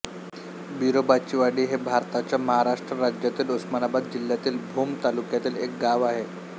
बिरोबाचीवाडी हे भारताच्या महाराष्ट्र राज्यातील उस्मानाबाद जिल्ह्यातील भूम तालुक्यातील एक गाव आहे